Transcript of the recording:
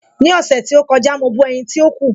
Ní ọ̀sẹ̀ tí ó kọjá, mo bọ ẹ̀yin tí ó kù.